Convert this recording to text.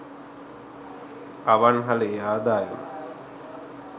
අවන්හලේ ආදායම